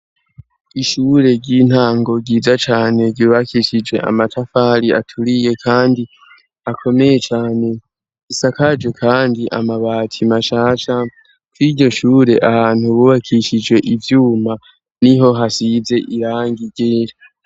Ishure ry'intango ryiza cane ryubakishije amatafari aturiye, kandi akomeye cane isakaje, kandi amabati mashasha ko iryo shure ahantu bubakishije ivyuma ni ho hasize iranga igere.